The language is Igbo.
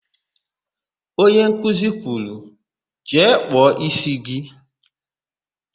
Onye nkuzi kwuru, "jee kpụọ ísí gị"!